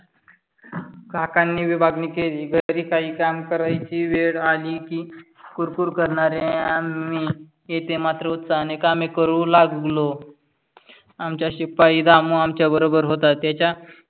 काकानी विभागणी केली. घरी काही कामे करायची वेळ आली की फ्हुर फ्हुर करणारे आम्ही इथे मात्र उत्साहाने कामे करू लागलो. आमचा शिपाई रामु आमच्या बरोबर होता. त्याच